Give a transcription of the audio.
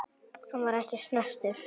Hann var ekki snertur.